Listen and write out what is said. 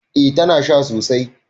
Eh tana sha sosai